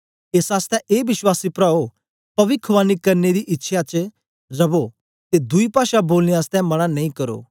एस आसतै ए विश्वासी प्राओ पविखवाणी करने दी इच्छ्यां च रवो ते दुई पाषा बोलने आसतै मन्ना नेई करो